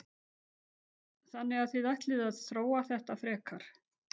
Þóra: Þannig að þið ætlið að þróa þetta frekar?